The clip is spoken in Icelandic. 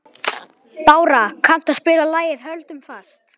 Bára, kanntu að spila lagið „Höldum fast“?